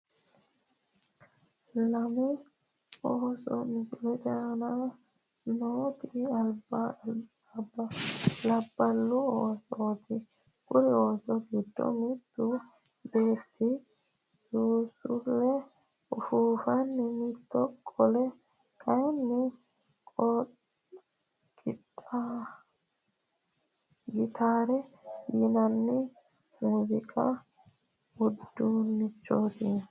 Lame ooso misilete aana nooti labballu oosooti kuri oos giddo mittu beetti suusulle ufuufanni mittu qole kaaynni qitaarete yinanni mooziiqu uduunnichooti.